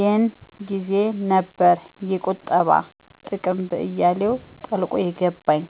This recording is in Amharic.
የን ጊዜ ነበር የቁጠባ ጥቅም በአያሌው ጠልቆ የገባኝ።